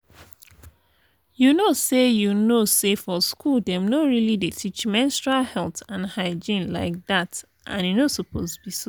you know say you know say for school dem no really dey teach menstrual health and hygiene like that and e no suppose be so.